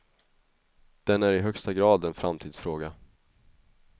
Den är i högsta grad en framtidsfråga.